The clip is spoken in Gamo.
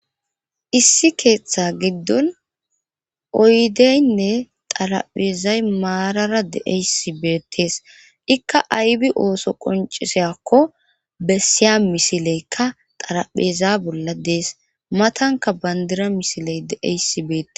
Issi keeththa giddon oyddenne xarphezay marara d'yayssi beetees. ikka aybi ooso qonccisiyaakko bessiya misilekka xarpheza bolla dees. matankka bandira misile de'iyayssi beetees.